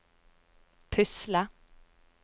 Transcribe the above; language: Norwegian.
pusle